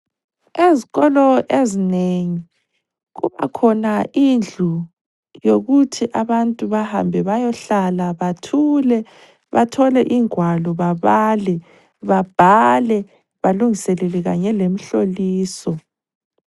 Ezikolo ezinengi kubakhona indlu yokuthi abantu bahambe bayohlala bathule bathole ingwalo babale, babhale balungiselele kanye lemhloliso.